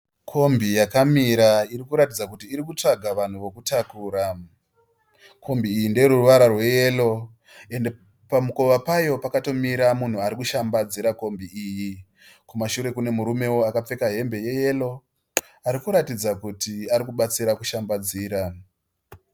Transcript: Kombi yakamira iri kuratidza kuti iri kutsvaga vanhu vokutakura. Kombi iyi ndeyeruvara rweyero ende pamukova payo pakatomira munhu ari kushambadzira kombi iyi. Kumashure kune murumewo akapfeka hembe yeyero ari kuratidza kuti ari kubatsira kushambadzira.